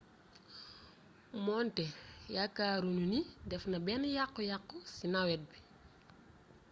moonte yaakaaruñu ni defna benn yakku yakku ci navette bi